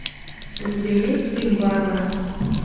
у тебя есть фильм барбара